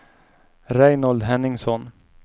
Reinhold Henningsson